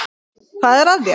Hvað er að þér?